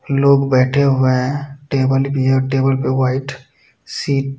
लोग बेठे हुए हैंटेबल भी है और टेबल पर वाइट शीट --